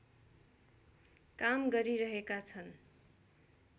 काम गरिरहेका छन्